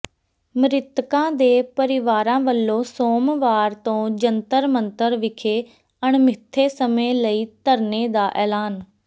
ਮਿ੍ਤਕਾਂ ਦੇ ਪਰਿਵਾਰਾਂ ਵਲੋਂ ਸੋਮਵਾਰ ਤੋਂ ਜੰਤਰ ਮੰਤਰ ਵਿਖੇ ਅਣਮਿੱਥੇ ਸਮੇਂ ਲਈ ਧਰਨੇ ਦਾ ਐਲਾਨ